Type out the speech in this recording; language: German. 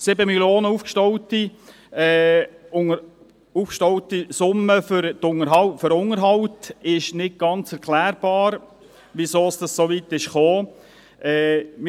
Bezüglich der für den Unterhalt aufgestauten Summe von 7 Mio. Franken ist nicht ganz erklärbar, weshalb es so weit gekommen ist.